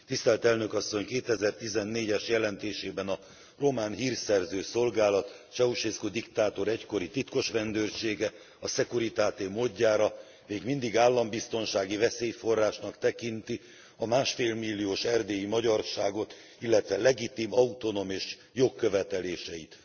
2014 es jelentésében a román hírszerző szolgálat Ceauşescu diktátor egykori titkosrendőrsége, a Securitate módjára még mindig állambiztonsági veszélyforrásnak tekinti a másfél milliós erdélyi magyarságot, illetve legitim autonómia és jogköveteléseit.